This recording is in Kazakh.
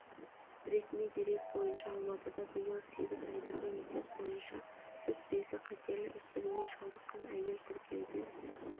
ресми дерек бойынша алматыда биыл сегіз айдағы есеп бойынша сүт безі қатерлі ісігіне шалдыққан әйел тіркеуде